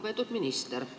Lugupeetud minister!